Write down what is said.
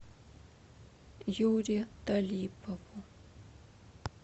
юре талипову